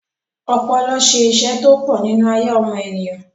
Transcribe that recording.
ọpọlọ se isẹ́ tó pọ̀ nínú ayé ọmọ ènìyàn